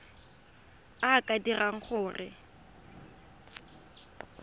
a a ka dirang gore